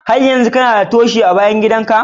Har yanzu kana da Toshi a bayan gida ka?